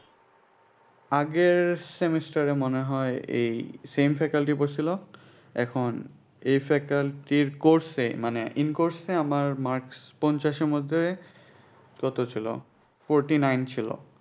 আগের semester এ মনে হয় এই same faculty পরছিল এখন এই faculty course এ মানে in-course এ আমার marks পঞ্চাশ এর মধ্যে কত ছিলো foury-nine ছিলো।